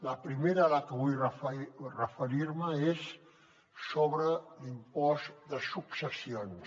la primera a la que vull referir me és sobre l’impost de successions